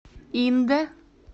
индэ